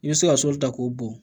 I bɛ se ka sɔli ta k'o bɔn